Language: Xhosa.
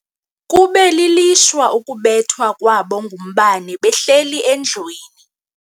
Kube lilishwa ukubethwa kwabo ngumbane behleli endlwini.